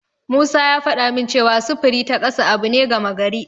Musa ya faɗa min cewa sufuri ta kasa abu ne gama gari.